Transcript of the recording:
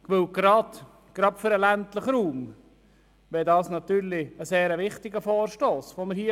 Gerade für den ländlichen Raum wäre dieser Vorstoss wichtig.